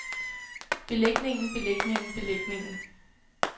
belægningen belægningen belægningen